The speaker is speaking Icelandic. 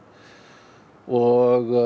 og